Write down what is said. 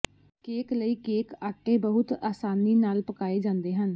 cake ਲਈ cake ਆਟੇ ਬਹੁਤ ਆਸਾਨੀ ਨਾਲ ਪਕਾਏ ਜਾਂਦੇ ਹਨ